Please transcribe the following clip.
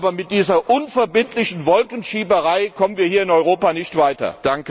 Aber mit dieser unverbindlichen Wolkenschieberei kommen wir hier in Europa nicht weiter.